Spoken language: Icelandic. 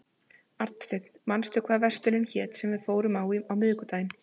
Arnsteinn, manstu hvað verslunin hét sem við fórum í á miðvikudaginn?